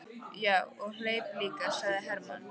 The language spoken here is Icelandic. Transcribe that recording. Já, og hleyp líka, sagði Hermann.